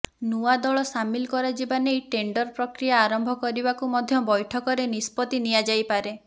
ନୂଆ ଦଳ ସାମିଲ କରାଯିବା ନେଇ ଟେଣ୍ଡର ପ୍ରକ୍ରିୟା ଆରମ୍ଭ କରିବାକୁ ମଧ୍ୟ ବୈଠକରେ ନିଷ୍ପତ୍ତି ନିଆଯାଇପାରେ